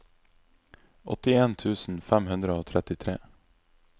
åttien tusen fem hundre og trettitre